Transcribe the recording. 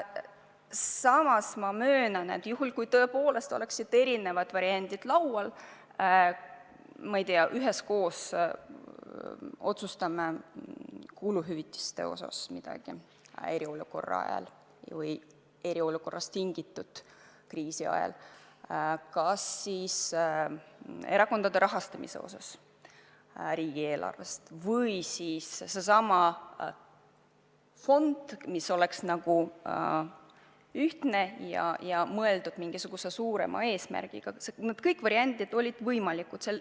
Samas ma möönan, et juhul, kui tõepoolest oleksid erinevad variandid laual – ma ei tea, et me üheskoos otsustame kuluhüvitiste osas midagi eriolukorra ajal või eriolukorrast tingitud kriisi ajal, või erakondade riigieelarvest rahastamise osas või sellesama fondi osas, mis oleks nagu ühtne ja mõeldud mingisuguse suurema eesmärgi täitmiseks – need kõik variandid oleks võimalikud.